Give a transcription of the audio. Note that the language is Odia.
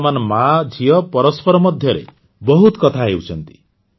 ବର୍ତ୍ତମାନ ମାଝିଅ ପରସ୍ପର ମଧ୍ୟରେ ବହୁତ କଥା ହେଉଛନ୍ତି